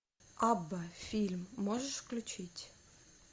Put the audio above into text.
абба фильм можешь включить